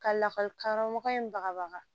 Ka lakɔlikaramɔgɔ in bagabaga